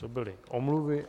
To byly omluvy.